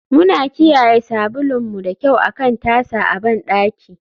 Muna kiyaye sabulun mu da kyau akan tasa a bandaki.